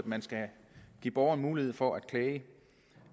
man skal give borgeren mulighed for at klage